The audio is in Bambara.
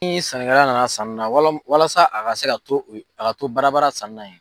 Ni sannnikɛla nana sanni wala walasa a ka se ka to a ka to badabada sanni n'a ye